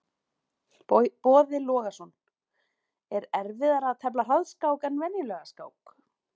Boði Logason: Er erfiðara að tefla hraðskák en venjulega skák?